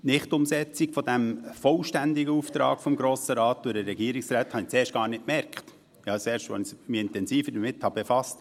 Die Nicht-Umsetzung des vollständigen Auftrags des Grossen Rates durch den Regierungsrat bemerkte ich zuerst gar nicht, sondern erst, als ich mich intensiver damit befasste.